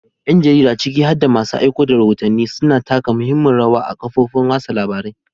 Yan jarida, ciki har da masu aiko da rahotanni, suna taka muhimmiyar rawa a kafofin watsa labarai.